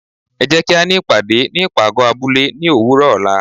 é jé kí á ní ìpàdé ní ipágọ abúle ní òwúrò ola